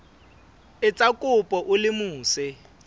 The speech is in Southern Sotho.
etsa kopo o le mose